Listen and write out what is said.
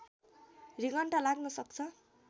रिङ्गटा लाग्न सक्छ